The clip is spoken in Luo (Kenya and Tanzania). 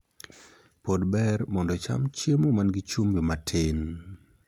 Pod ber mondo icham chiemo man gi chumbi matin.